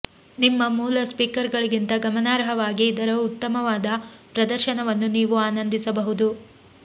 ನಿಮ್ಮ ಮೂಲ ಸ್ಪೀಕರ್ಗಳಿಗಿಂತ ಗಮನಾರ್ಹವಾಗಿ ಇದರ ಉತ್ತಮವಾದ ಪ್ರದರ್ಶನವನ್ನು ನೀವು ಆನಂದಿಸಬಹುದು